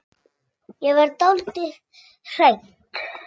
Ég verð dálítið hrædd.